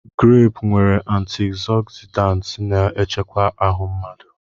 Greepụ nwere antịogzịdaantị na-echekwa ahụ mmadụ.